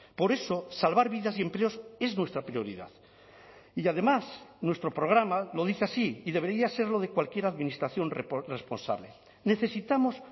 por eso salvar vidas y empleos es nuestra prioridad y además nuestro programa lo dice así y debería serlo de cualquier administración responsable necesitamos